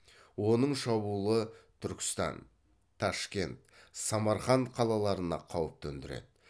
оның шабуылы түркістан ташкент самарқанд қалаларына қауіп төндіреді